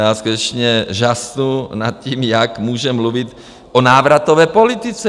Já skutečně žasnu nad tím, jak může mluvit o návratové politice.